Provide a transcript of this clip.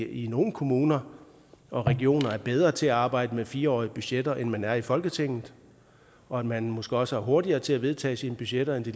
i nogle kommuner og regioner er bedre til at arbejde med fire årige budgetter end man er i folketinget og at man måske også er hurtigere til at vedtage sine budgetter end det